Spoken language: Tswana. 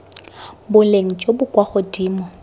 boleng jo bo kwa godimo